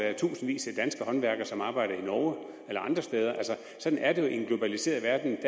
er tusindvis af danske håndværkere som arbejder i norge eller andre steder altså sådan er det jo i en globaliseret verden